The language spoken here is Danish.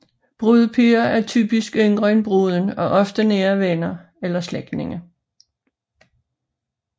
Brudepiger er typisk yngre end bruden og ofte nære venner eller slægtningen